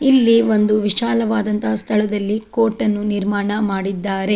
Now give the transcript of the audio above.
ಇಲ್ಲಿ ಒಂದು ವಿಶಾಲವಾದಂತಹ ಸ್ಥಳದಲ್ಲಿ ಕೋರ್ಟ್ ನ್ನು ನಿರ್ಮಾಣ ಮಾಡಿದ್ದಾರೆ.